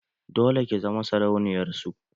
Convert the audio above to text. Dole ki zama sarauniyar su!